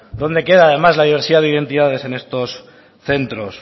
dónde queda además la diversidad de identidades en estos centros